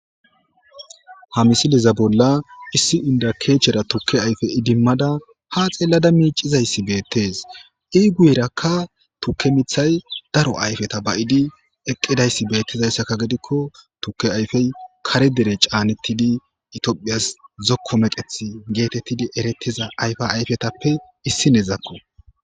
ha misileza bolla issi indakeechera tukke ayfe idimmada ha xeellada miicizayssi beettes i guyerakka tukke mithay daro ayfeta ba7idi eqqidayssi beettizayssakka gidikko tuke ayfey kare dere caanettidi itoophiyas zokko meqeth geetettidi erettiza ayfa ayfetappe issineezakko